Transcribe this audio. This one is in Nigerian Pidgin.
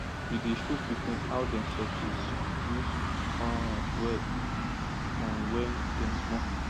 we dey show pikin how dem suppose use um well from when dem small